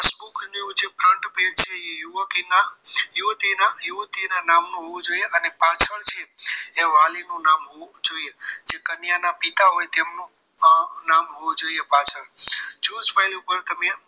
page છે એ યુવતી યુવતીના નામનું હોવું જોઈએ અને પાછળ છે એ વાલીનું નામ હોવું જોઈએ જે કન્યાના પિતા હોય જેમનું નામ હોવું જોઈએ પાછળ choose file ઉપર તમે